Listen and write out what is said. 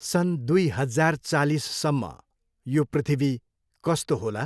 सन् दुई हजार चालिससम्म यो पृथ्वी कस्तो होला?